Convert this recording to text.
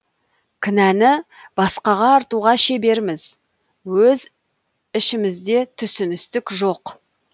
кінәні басқаға артуға шеберміз өз ішімізде түсіністік жоқ